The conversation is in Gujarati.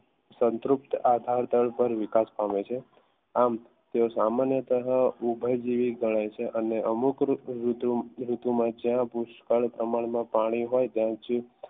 સંતૃપ્ત આધાર પર વિકાસ પામે છે આમ તેઓ સામાન્ય ઉભય જેવી ગણાય છે અને અમુક ઋતુઓમાં જ્યાં પુષ્કળ પ્રમાણમાં પાણી હોય ત્યાં